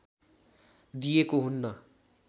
दिएको हुन्न।